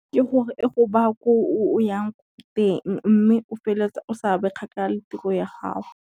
Ke gore e go baya ko o yang teng, mme o feletsa o sa be kgakala le tiro ya gago.